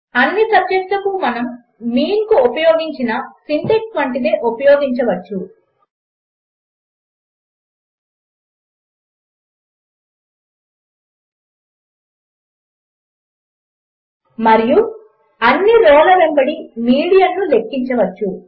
అన్ని సబ్జెక్టులకు మనము మీన్కు ఉపయోగించిన సింటక్స్ వంటిదే ఉపయోగించవచ్చు మరియు అన్ని రోల వెంబడి మీడియన్ను లెక్కించవచ్చు